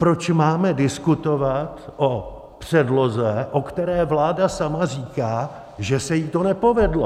Proč máme diskutovat o předloze, o která vláda sama říká, že se jí to nepovedlo?